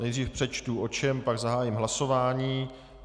Nejdřív přečtu o čem, pak zahájím hlasování.